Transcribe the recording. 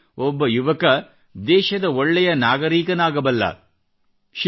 ಆಗಲೇ ಒಬ್ಬ ಯುವಕ ದೇಶದ ಒಳ್ಳೆಯ ನಾಗರಿಕನಾಗಬಲ್ಲ